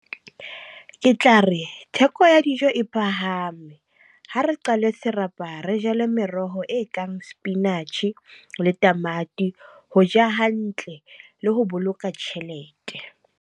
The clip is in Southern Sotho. Ke tla re, theko ya dijo e phahame. Ha re qalwe serapa re jale meroho e kang spinach le tamati, ho ja hantle le ho boloka tjhelete.